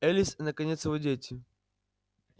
элис и наконец его дети